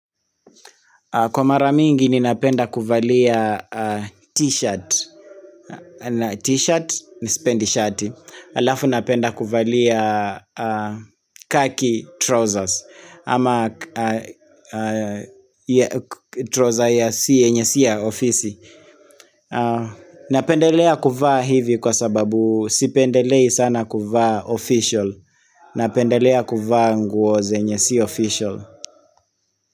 Kwa mara mingi ninapenda kuvalia t-shirt, na t-shirt mimi sipendi shati, halafu napenda kuvalia khaki trousers, ama troza ya si yenye si ya ofisi. Napendelea kuvaa hivi kwa sababu sipendelei sana kuvaa official, napendelea kuvaa nguo zenye si official.